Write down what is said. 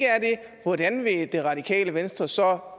hvordan vil det radikale venstre så